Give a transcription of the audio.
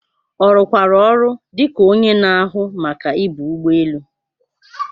Ọ rụkwara ọrụ dị ka onye na-ahụ Maka ibu ụgbọ elu?